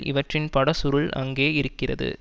இவற்றின் பட சுருள் அங்கே இருக்கிறது